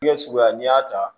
suguya n'i y'a ta